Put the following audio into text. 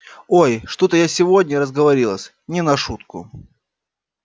ой что-то я сегодня разговорилась не на шутку